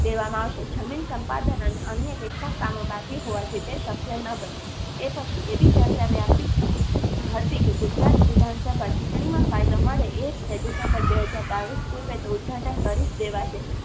દેવામાં આવશે. જમીન સંપાદન અને અન્ય કેટલાક કામો બાકી હોવાથી તે શક્ય ન બન્યું. એ પછી એવી ચર્ચા વાપી હતી કે ગુજરાત વિધાનસભા ચુંટણીમાં ફાયદો મળે એ રીતે ડીસેમ્બર બે હજાર બાવીસ પૂર્વે તો ઉદઘાટન કરીજ દેવાશે